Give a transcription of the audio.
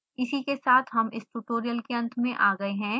इसी के साथ हम इस tutorial के अंत में आ गए हैं